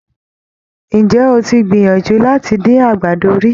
Ǹjẹ́ o ti gbìyànjú láti dín àgbàdo rí?